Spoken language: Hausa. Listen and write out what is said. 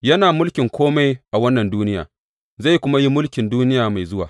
Yana mulkin kome a wannan duniya, zai kuma yi mulkin duniya mai zuwa.